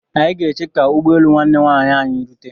Anyị ga-eche ka ụgbọelu nwanne nwaanyị anyị rute.